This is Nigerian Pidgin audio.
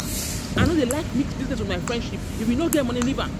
See, I no dey like mix my business with friendship, if you no get money leave am